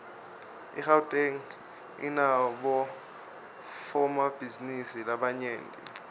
igauteng inabofomabhizinisi labanyent